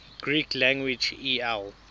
greek lang el